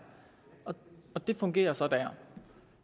og det fungerer så der